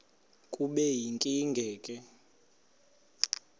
kube yinkinge ke